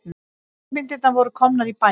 Kvikmyndirnar voru komnar í bæinn.